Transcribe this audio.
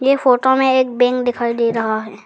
ये फोटो में एक बैंक दिखाई दे रहा है।